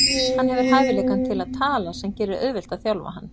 Hann hefur hæfileikann til að tala sem gerir auðvelt að þjálfa hann.